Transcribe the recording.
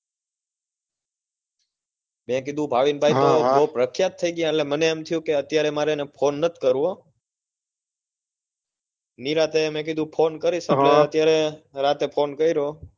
મેં કીધું ભાવિનભાઈ ને હમ બહુ પ્રખ્યાત થઇ ગય મને થયું અત્યારે એમણે ફોન નથી કરવો નિરાંતે મેં કીધું ફો કરીશ પણ અત્યારે હમ રાત્રે ફોન કર્યો